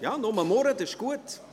Ja, murren Sie nur, das ist gut.